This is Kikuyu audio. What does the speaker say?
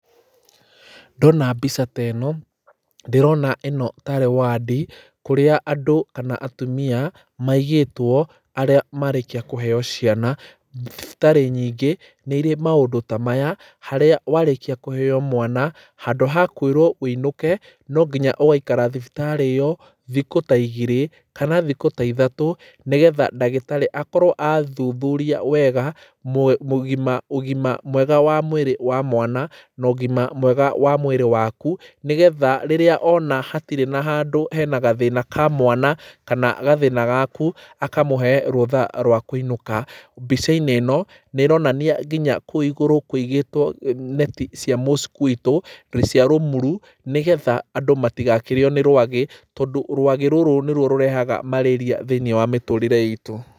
Ndona mbica ta ĩno ndĩrona ĩno tarĩ wadi kũrĩa andũ kana atumia maigĩtwo arĩa marĩkia kũheo ciana. Thibitarĩ nyingĩ nĩirĩ maũndũ ta maya haria warĩkia kũheo mwana handũ ha kwĩrwo ũinũke no nginya ũgaikara thibitarĩ ĩyo thikũ ta igĩrĩ kana ithatũ nĩgetha ndagĩtarĩ akorwo athuthuria wega mu mũgĩma ũgima mwega wa mwĩrĩ wa mwana na ũgima mwega wa mwĩrĩ waku nĩgetha rĩrĩa ona hatirĩ na handũ hena gathĩna ka mwana kana gathĩna gaku, akamũhe rũtha rwa kuinũka. Mbica-inĩ ĩno nĩĩronania nginya kũu igũrũ kũigĩtwo n neti cia mosquito rũiciarũmuru nĩgetha andũ matigakĩrĩo nĩ rwagĩ tondũ rwagĩ rũrũ nĩruo rũrehaga mararia mĩtũrĩre-inĩ itũ.